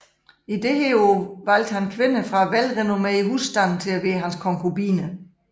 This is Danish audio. Dette år valgte han kvinder fra velrenommerede husstande til at være hans konkubiner